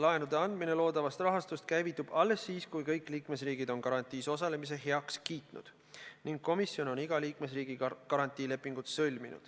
Laenude andmine loodavast rahastust käivitub alles siis, kui kõik liikmesriigid on garantiis osalemise heaks kiitnud ning komisjon on iga liikmesriigiga garantiilepingud sõlminud.